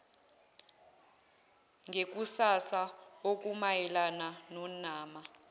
ngekusasa okumayelana nonama